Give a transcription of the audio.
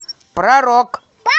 про рок